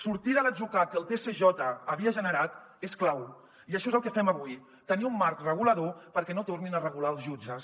sortir de l’atzucac que el tsj havia generat és clau i això és el que fem avui tenir un marc regulador perquè no tornin a regular els jutges